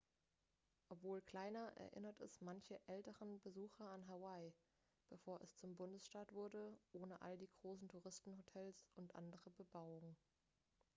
obwohl kleiner erinnert es manche älteren besucher an hawaii bevor es zum bundesstaat wurde ohne all die großen touristenhotels und andere bebauung